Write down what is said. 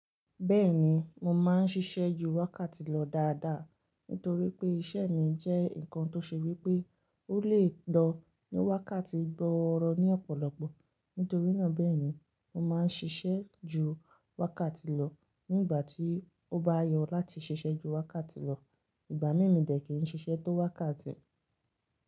Bẹ́ẹ̀ni, mo máa ń ṣiṣẹ́ ju wákàtí lọ dáadáa. Nítorí pé iṣẹ́ mi jẹ́ nǹkan tó ṣe wípé ó lè lọ ní wákàtí gbooro ní ọ̀pọ̀lọpọ̀. Nítorínà bẹ́ẹ̀ ni mo máa ń ṣiṣẹ́ ju wákàtí lọ ní ìgbà tí ó bá yọ láti ṣiṣẹ́ ju wákàtí lọ. Ìgbà mí mo dẹ kì ń ṣiṣẹ́ tó wákàtí.